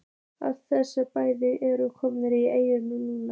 Allir þessir bæir eru komnir í eyði núna.